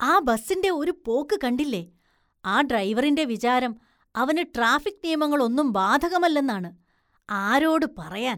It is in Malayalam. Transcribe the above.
ആ ബസ്സിന്റെ ഒരു പോക്ക് കണ്ടില്ലേ, ആ ഡ്രൈവറിന്റെ വിചാരം അവന് ട്രാഫിക്ക് നിയമങ്ങളൊന്നും ബാധകമല്ലെന്നാണ്, ആരോട് പറയാന്‍